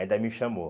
Ainda me chamou.